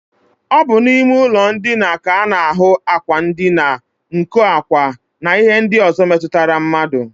Ọ bụ n'ime ụlọndina ka a na-ahụ ákwà ndina, nkọ ákwá, na ihe ndị ọzọ metụtara mmadụ